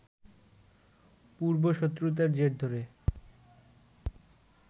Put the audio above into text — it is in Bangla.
পূর্ব শত্রুতার জের ধরে